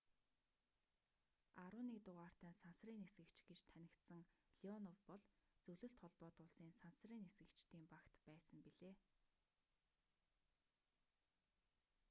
11 дугаартай сансрын нисгэгч гэж танигдсан леонов бол зөвлөлт холбоот улсын сансрын нисгэгчдийн багт байсан билээ